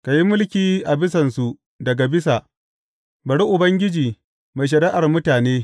Ka yi mulki a bisansu daga bisa; bari Ubangiji mai shari’ar mutane.